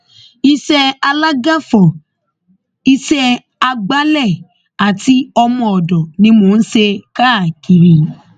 iṣẹ alágàfo iṣẹ àgbàlẹ àti ọmọọdọ ni mò ń ṣe káàkiri